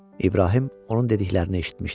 İbrahim onun dediklərini eşitmişdi.